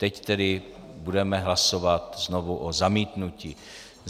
Teď tedy budeme hlasovat znovu o zamítnutí.